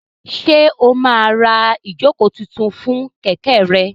Ṣé o máa ra ìjókòó tuntun fún kẹ̀kẹ́ rẹ?